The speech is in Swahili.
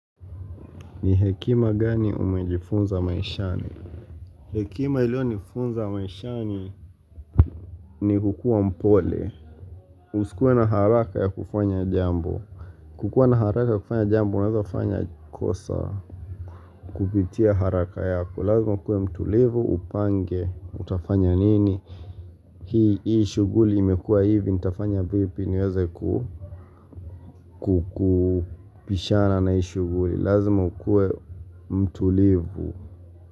Ni hekima gani umejifunza maishani hekima ilio nifunza maishani ni kukua mpole usikuwe na haraka ya kufanya jambo kukua na haraka ya kufanya jambo unaweza fanya kosa kupitia haraka yako lazima ukuwe mtulivu upange utafanya nini hii hishuguli imekua hivi nitafanya vipi niweze ku kukupishana na hii shuguli lazima ukue mtulivu.